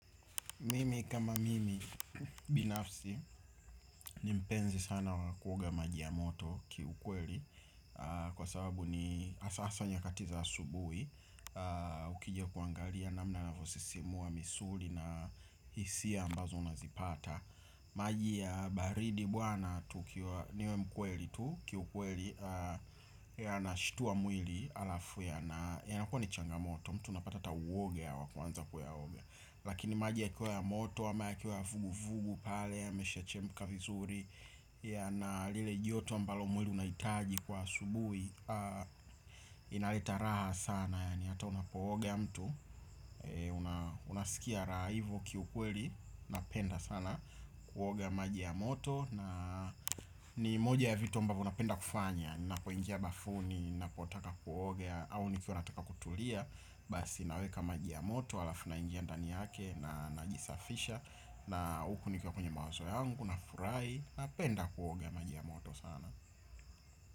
Mimi kama mimi binafsi ni mpenzi sana wakuoga majiya moto ki ukweli. Kwa sababu ni hasa hasa nyakatiza asubuhi. Ukija kuangalia na mna inavyosisimua misuli na hisia ambazo unazipata. Majiya baridi bwana tu kiwa niwe mkweli tu ki ukweli. Ya na shtua mwili alafu ya na ya nakua ni changa moto. Mtu unapata hata uoga ya kuanza kuya oga. Lakini maji ya kiwa ya moto, ama ya kiwa ya vugu-vugu pale, ya mesha chemka vizuri. Ya na lile joto ambalo mwili unahitaji kwa asubuhi. Inaleta raha sana, yaani hata unapooga ya mtu unasikia rahahivyo kiukweli, napenda sana kuoga maji ya moto. Na ni moja ya vituambavyo napenda kufanya. Ninapo ingia bafuni, ninapotaka kuoga au nikiwa nataka kutulia. Basi naweka maji ya moto, alafu na ingia ndani yake na najisafisha na hukunikiwa kwenye mawazo yangu na furahi na penda kuoga majiya moto sana.